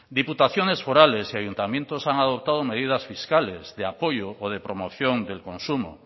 diputaciones forales y ayuntamientos han adoptado medidas fiscales de apoyo o de promoción del consumo